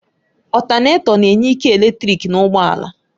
Ọtánètọ na-enye ike eletrik na ụgbọ ala